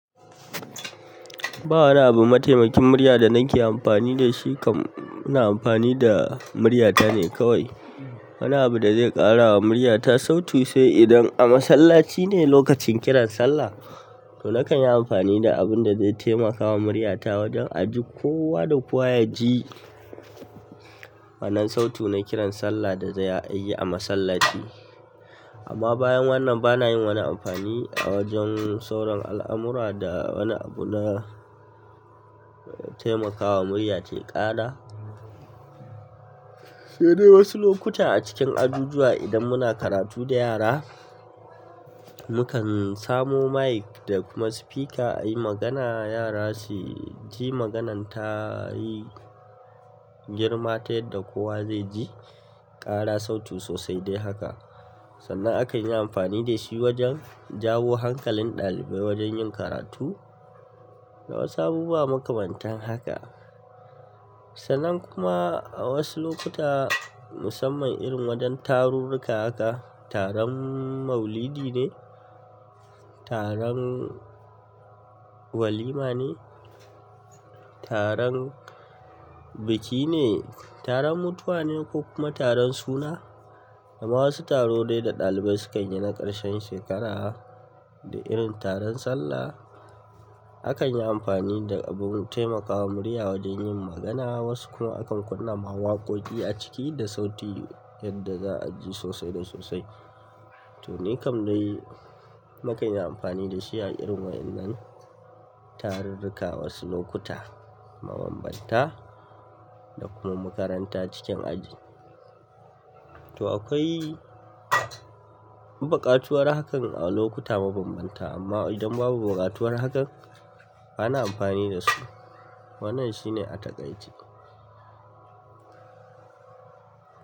Ba wani abu mataimakin murya da nake amfani da shi kam ina amfani da muryata ne kawai. Babu wani abu da zai ƙara wa muryata sautu sai idan a masallaci ne lokacin kiran sallah, to nakan yi amfani da abun da zai taimakawa muryata wajen a ji kowa da kowa ya ji. Wannan sautu na kiran sallah da za a yi a masallaci. Amma bayan wannan bana yin wani amfani a wajen sauran al'amura da wani abu na taimakawa murya tayi ƙara. Sai dai wasu lokuta a cikin ajujuwa idan muna karatu da yara, mukan samo mic da kuma speaker a yi magana yara su ji maganan ta yi girma ta yadda kowa zai ji, ƙara sautu sosai dai haka. Sannan akan yi amfani da shi wajen jawo hankalin ɗalibai wajen yin karatu. Da wasu abubuwa makamantan haka. Sannan kuma a wasu lokuta musamman irin wajen tarurruka haka, taron maulidi ne, taron walima ne, taron biki ne, taron mutuwa ne ko kuma taron suna, da ma wasu taro dai da ɗalibai sukan yi na ƙarshen shekara, da irin taron sallah, akan yi amfani da abun taimakawa murya wajen yin magana. Wasu kuma akan kunna ma waƙoƙi a ciki da sauti yadda za'aji sosai da sosai to ne kam dai nakan yi amfani da shi a irin wa'ƴannan tarurruka wasu lokuta mabanbanta da kuma makaranta cikin aji. To akwai buƙatuwar hakan a lokuta mabanbanta amma idan babu buƙatuwar hakan bana amfani da su wannan shine a takaice.